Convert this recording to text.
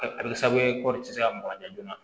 A bɛ kɛ sababu ye kɔri tɛ se ka mɔgɔ joona